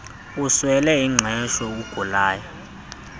uswele ingqesho ugulayo